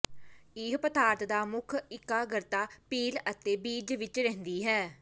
ਇਹ ਪਦਾਰਥ ਦਾ ਮੁੱਖ ਇਕਾਗਰਤਾ ਪੀਲ ਅਤੇ ਬੀਜ ਵਿਚ ਰਹਿੰਦੀ ਹੈ